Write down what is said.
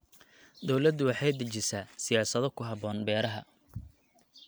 Dawladdu waxay dejisaa siyaasado ku habboon beeraha.